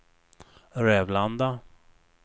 Rävlanda